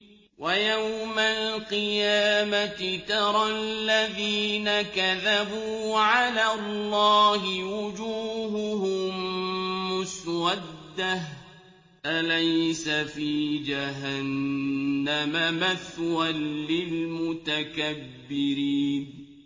وَيَوْمَ الْقِيَامَةِ تَرَى الَّذِينَ كَذَبُوا عَلَى اللَّهِ وُجُوهُهُم مُّسْوَدَّةٌ ۚ أَلَيْسَ فِي جَهَنَّمَ مَثْوًى لِّلْمُتَكَبِّرِينَ